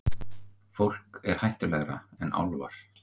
Fólk er hættulegra en álfar.